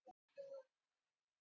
Janus